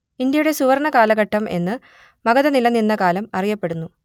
ഇന്ത്യയുടെ സുവർണ്ണ കാലഘട്ടം എന്ന് മഗധ നിലനിന്ന കാലം അറിയപ്പെടുന്നു